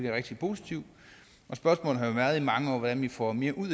er rigtig positivt og spørgsmålet har i mange år været hvordan vi får mere ud